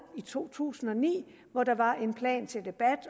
i to tusind og ni hvor der var en plan til debat